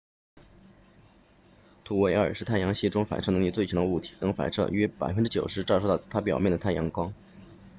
土卫二 enceladus 是太阳系中反射能力最强的物体能反射约 90％ 照射到它表面的太阳光